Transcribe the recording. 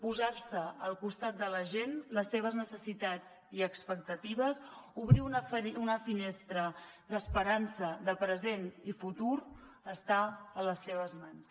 posar se al costat de la gent les seves necessitats i expectatives obrir una finestra d’esperança de present i futur està a les seves mans